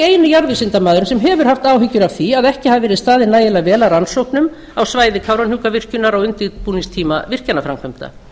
eini jarðvísindamaðurinn sem hefur haft áhyggjur af því að ekki hafi verið staðið nægilega að rannsóknum á svæði kárahnjúkavirkjunar á undirbúningstíma virkjanaframkvæmda